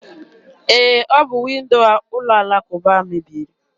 E, ọ bụ windo ụlọ alakụba mebiri.